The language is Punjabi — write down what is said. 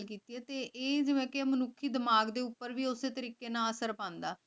ਕੇ ਆਯ ਜਿਵੇਂ ਕੇ ਮਨੁਖੀ ਦਿਮਾਗ ਦੇ ਊਟੀ ਵੀ ਓਵੇਂ ਅਸਰ ਪਾਂਦਾ